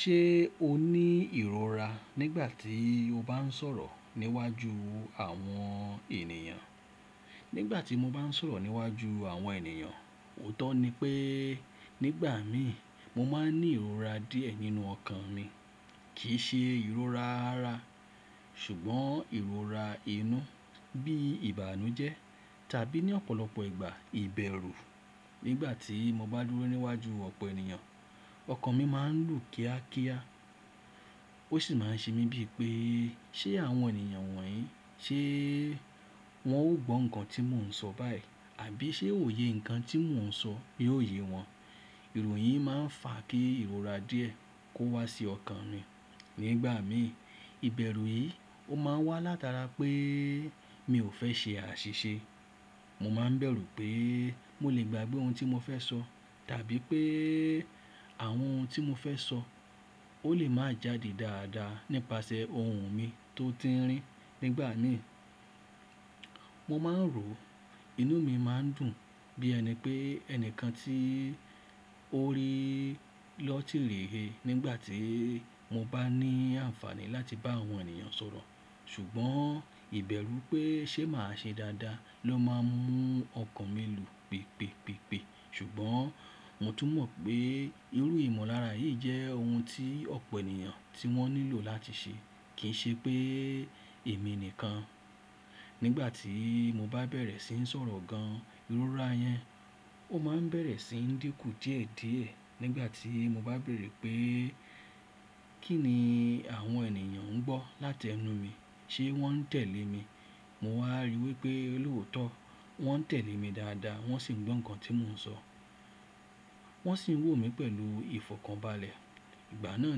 Ṣé o ní ìrora nígbà tí o bá ń sọ̀rọ̀ níwájú àwọn ènìyàn? Nígbà tí mo bá ń sọ̀rọ̀ níwájú àwọn ènìyàn, òótọ́ ni pé nígbà mi mo máa ń ní ìrora díẹ̀ nínú ọkàn mi. Kì í ṣe ìrora ara ṣùgbọ́n ìrora inú bí ìbànújẹ́ tàbí ní ọ̀pọ̀lọpọ̀ ìgbà ìbẹ̀rù. Nígbà tí mo bá dúró níwájú ọ̀pọ̀ ènìyàn, ọkàn mi máa ń lù kíákíá ó sì máa ń ṣe mí bíi pé ṣé àwọn ènìyàn wọ̀nyí ṣé wọn ó gbọ́ nǹkan tí mò ń sọ báyìí àbí ṣé òye nǹkan tí mò ń sọ yi ó ye wọn. Erò yì máa ń fa kí ìrora díẹ̀ kó wá sí ọkàn mi nígbà mi. Ìbẹ̀rù yìí ó máa ń wá látara pé mi ò fẹ́ ṣe àṣìṣe. Mo máa ń bẹ̀rù pé mo lè gbàgbé ohun tí mo fẹ́ sọ tàbí pé àwọn ohun tí mo fẹ́ sọ ó lè máa jáde dáadáa nípasẹ̀ ohùn mi tó tińrín. Nígbà mi mo máa ń rò inú mi máa ń dùn bí ẹni pé ẹni kan tí ó rí lọ́tìrì he nígbà tí mo bá ní àǹfààní láti bá àwọn ènìyàn sọ̀rọ̀. Ṣùgbọ́n ìbẹ̀rù pé ṣé màá ṣe dáadáa ló máa ń mú ọkàn mi lù pèpèpèpè. Ṣùgbọ́n mo tún mọ̀ pé irú ìmọ̀lára yìí jẹ́ ohun tí ọ̀pọ̀ ènìyàn tí wọ́n nílò láti ṣe kì í ṣe pé èmi nìkan. Nígbà tí mo bá bẹ̀rẹ̀ sí ń sọ̀rọ̀ gan, ìrora yẹn ó máa ń bẹ̀rẹ̀ sí ń dínkù díẹ̀díẹ̀ nígbà tí mo bá bẹ̀rẹ̀ pé kí ni àwọn ènìyàn ń gbọ́ láti ẹnu mi, ṣé wọ́n ń tẹ̀lé mi. Mo wá rí wípé lóòótọ́ wọ́n ń tẹ̀lé mi dáadáa wọ́n sì ń gbọ́ nǹkan tí mò ń sọ. Wọ́n sì ń wò mí pẹ̀lú ìfọ̀kànbalẹ̀. Ìgbà náà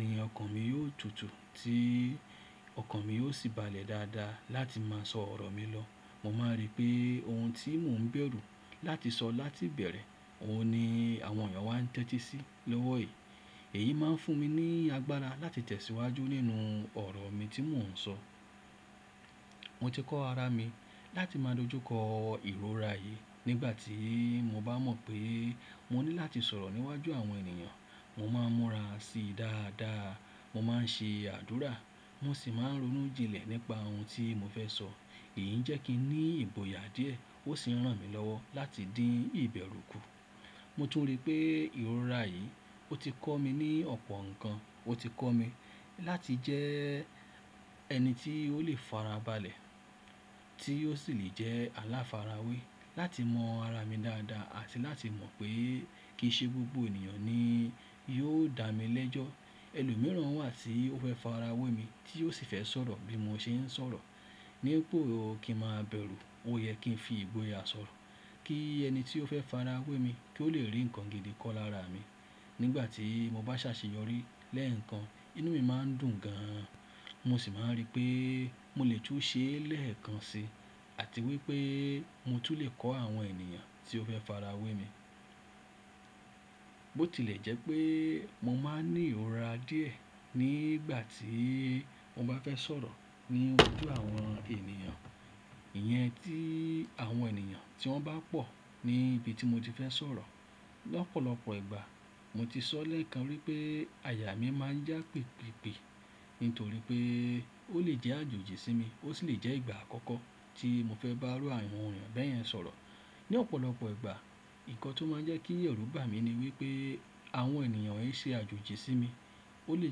ni ọkàn mi yóò tutù tí ọkàn mi yóò sì balẹ̀ dáadáa láti máa sọ ọ̀rọ̀ mi lọ. Mo máa rí pé ohun tí mò ń bẹ̀rù láti sọ láti bẹ̀rẹ̀, òun ni àwọn ènìyàn wá ń tẹ́tí sí lọ́wọ́ yi. Èyí máa ń fún mi ní agbára láti tẹ̀síwájú nínú ọ̀rọ̀ mi tí mò ń sọ. Mo ti kọ́ ara mi láti máa dojú kọ ìrora yìí. Nígbà tí mo bá mọ̀ pé mo ní láti sọ̀rọ̀ níwájú àwọn ènìyàn, mo máa ń múra si dáadáa. Mo máa ń ṣe àdúrà mo sì máa ń ronú jinlẹ̀ nípa ohun tí mo fẹ́ sọ. Èyí ń jẹ́ kí n ní ìgbòyà díẹ̀ ó sì ń ràn mí lọ́wọ́ láti dín ìbẹ̀rù kù. Mo tún rí pé ìrora yìí ó ti kọ́ mi ní ọ̀pọ̀ ǹkan. Ó ti kọ́ mi láti jẹ ẹni tí ó lè fara balẹ̀ tí ó sì lè jẹ́ aláfara wé, láti mọ ara mi dáadáa àti láti mọ̀ pé kì í ṣe gbogbo ènìyàn ni yóò dá mi lẹ́jọ́. Ẹlòmíràn wà tí ó fẹ́ fara wé mi tí ó sì fẹ́ sọ̀rọ̀ bí mo ṣe ń sọ̀rọ̀. Nípo kí n ma bẹ̀rù, ó yẹ kí n fi ìgboyà sọ̀rọ̀ kí ẹni tí ó fẹ́ fara wé mi kí ó lè rí ǹkan gidi kọ lára mi. Nígbà tí mo bá ṣàṣeyọrí lẹ́ẹ̀kan inú mi máa ń dùn gan. Mo sì máa ń rí pé mo lè tún ṣe lẹ́ẹ̀kan si àti wípé mo tún lè kọ́ àwọn ènìyàn tí ó fẹ́ fara wé mi. Bótilẹ̀ jẹ́ pé mo máa ń ní ìrora díẹ̀ nígbà tí mo bá fẹ́ sọ̀rọ̀ níwájú àwọn ènìyàn. Ìyẹn tí àwọn ènìyàn tí wọ́n bá pọ̀ ní ibi tí mo ti fẹ́ sọ̀rọ̀. Lọ́pọ̀lọpọ̀ ìgbà mo ti sọ lẹ́ẹ̀kan wípé àyà mi máa ń yá pèpèpè nítorí pé ó lè jẹ́ àjòjì sí mi ó sì lè jẹ́ ìgbà àkọ́kọ́ tí mo fẹ́ bá àwọn ènìyàn bẹ́ẹ̀ yẹn sọ̀rọ̀. Ni ọ̀pọ̀lọpọ̀ ìgbà, ǹkan tó máa ń jẹ́ kí ẹ̀rù bà mí ni wípé àwọn ènìyàn yìí ṣe àjòjì sí mi. Ó lè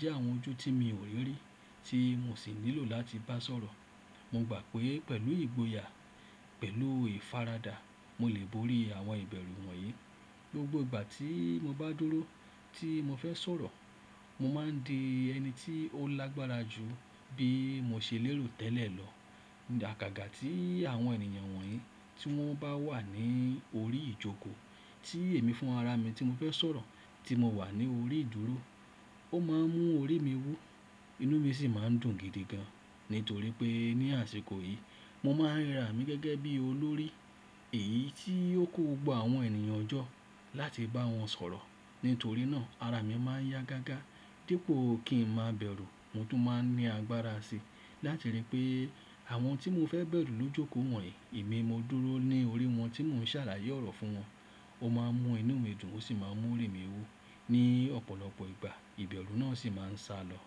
jẹ́ àwọn ojú tí mi ò rí rí tí mo sì nílò láti bá sọ̀rọ̀. Mo gbà pé pẹ̀lú ìgboyà, pẹ̀lú ìfaradà mo lè borí àwọn ìbẹ̀rù wọ̀nyí. Gbogbo ìgbà tí mo bá dúró tí mo fẹ́ sọ̀rọ̀, mo máa ń di ẹni tí ó lágbára jù bí mo ṣe lérò tẹ́lẹ̀ lọ. Àgàgà tí àwọn ènìyàn wọ̀nyí tí wọ́n bá wà ní orí ìjókòó tí èmi fún ara mi tí mo fẹ́ sọ̀rọ̀ tí mo wà ní orí ìdúró ó máa ń mú orí mi wú. Inú mi sì máa ń dùn gidi gan nítorí pé ní àsìkò yìí mo máa ń rirà mí gẹ́gẹ́ bí olórí èyí tí ó kò gbogbo àwọn ènìyàn jọ́ láti bá wọn sọ̀rọ̀. Nítorí náà ara mi máa ń yá gágá dípò kí ń máa bẹ̀rù. Mo tún máa ń ní agbára si láti rí pé àwọn tí mo fẹ́ bẹ̀rù ló jókòó wọ̀nyí. Èmi mo dúró ní orí wọn tí mò ń ṣàlàyé ọ̀rọ̀ fún wọn. Ó máa ń mú inú mi dùn ó sì máa ń mú orí mi wú. Ni ọ̀pọ̀lọpọ̀ ìgbà ìbẹ̀rù náà sì máa ń salọ.